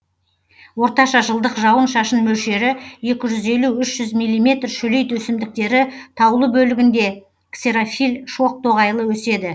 орташа жылдық жауын шашын мөлшері екі жүз елу үш жүз миллиметр шөлейт өсімдіктері таулы бөлігінде ксерофиль шоқ тоғайлы өседі